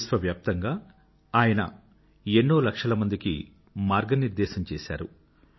విశ్వవ్యాప్తంగా ఆయన ఎన్నోలక్షల మందికి మార్గనిర్దేశం చేసారు